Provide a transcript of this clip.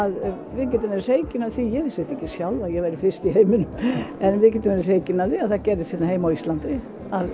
við getum verið hreykin af því ég vissi þetta ekki sjálf að ég væri fyrst í heiminum en við getum verið hreykin af því að það gerðist hérna heima á Íslandi